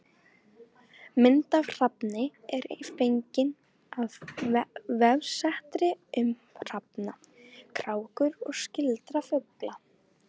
Mynd af hrafni er fengin af vefsetri um hrafna, krákur og skyldra fugla.